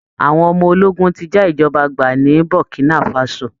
Àwọn ọmọ ológun ti já ìjọba gbà ní Burkinafaso